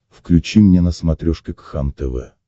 включи мне на смотрешке кхлм тв